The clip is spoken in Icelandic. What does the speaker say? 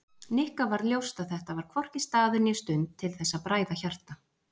Nikka varð ljóst að þetta var hvorki staður né stund til þess að bræða hjarta